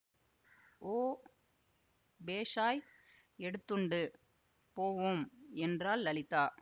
ஓ பேஷாய் எடுத்துண்டு போவோம் என்றாள் லலிதா